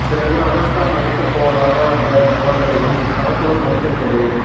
பிறகு அனுஷ்கா நடிக்கப் போவதாக வந்த தகவல்களையும் படக்குழு மறுத்து விட்டது